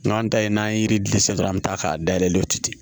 N'an ta ye n'an ye yiri di san dɔrɔn an bɛ taa k'a da yɛlɛ o tɛ ten